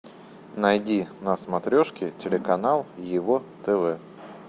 найди на смотрешке телеканал ево тв